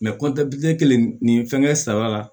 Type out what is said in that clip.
kɔntanti kelen nin fɛngɛ saba la